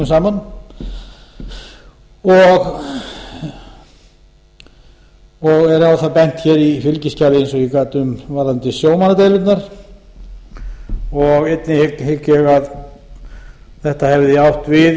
saman og er á það bent hér í fylgiskjali eins og ég gat um varðandi sjómannadeilurnar og einnig hygg ég að þetta hefði átt við